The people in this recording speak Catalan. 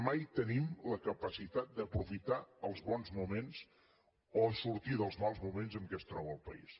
mai tenim la capacitat d’aprofitar els bons moments o sortir dels mals moments en què es troba el país